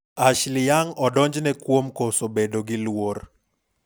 Ashley Young odonjne kuom koso bedo gi luor.